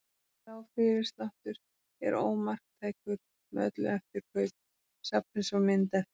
Sá fyrirsláttur er ómarktækur með öllu eftir kaup safnsins á mynd eftir